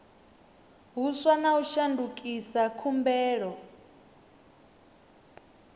huswa na u shandukisa khumbelo